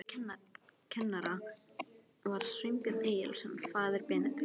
Einn kennara var Sveinbjörn Egilsson, faðir Benedikts.